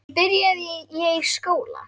Svo byrjaði ég í skóla.